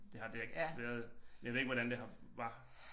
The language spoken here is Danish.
Det har det ikke været jeg ved ikke hvordan det har var